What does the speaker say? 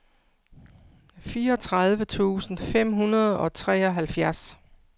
fireogtredive tusind fem hundrede og treoghalvfjerds